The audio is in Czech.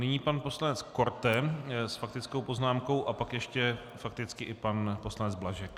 Nyní pan poslanec Korte s faktickou poznámkou a pak ještě fakticky i pan poslanec Blažek.